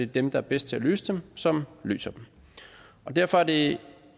dem der er bedst til at løse dem som løser dem derfor er det